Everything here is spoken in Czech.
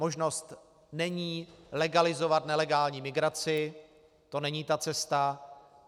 Možnost není legalizovat nelegální migraci, to není ta cesta.